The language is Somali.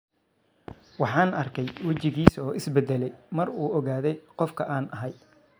Waxaan arkay wajigiisa oo is bedelay mar uu ogaaday qofka aan ahay.